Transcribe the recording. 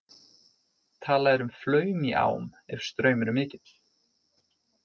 Talað er um flaum í ám ef straumur er mikill.